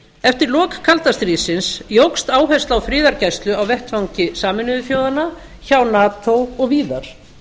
eftir lok kalda stríðsins jókst áhersla á friðargæslu á vettvangi sameinuðu þjóðanna hjá nato og víðar